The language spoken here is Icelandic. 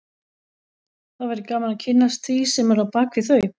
Það væri gaman að kynnast því sem er á bak við þau